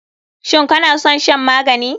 Shin kanason shan magani?